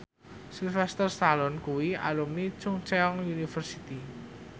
Sylvester Stallone kuwi alumni Chungceong University